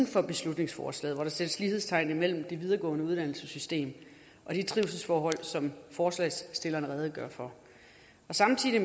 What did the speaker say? for beslutningsforslaget hvor der sættes lighedstegn imellem det videregående uddannelsessystem og de trivselsforhold som forslagsstillerne redegør for samtidig